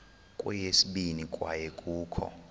kweyesibini kwaye kukho